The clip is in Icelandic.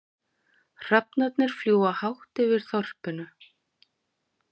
Hrafnarnir fljúga hátt yfir þorpinu.